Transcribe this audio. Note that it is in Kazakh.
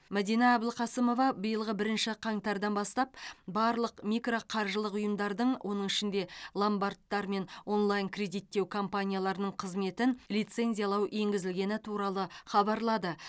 мәдина әбілқасымова биылғы бірінші қаңтардан бастап барлық микроқаржылық ұйымдардың оның ішінде ломбардтар мен онлайн кредиттеу компанияларының қызметін лицензиялау енгізілгені туралы хабарлады